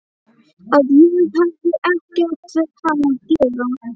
Að ég hefði ekkert við hann að gera.